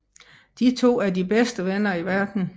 De to er de bedste venner i verden